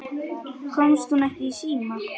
Komst hún ekki í síma?